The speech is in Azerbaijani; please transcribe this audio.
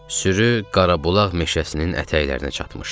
Sürü Qarabulax meşəsinin ətəklərinə çatmışdı.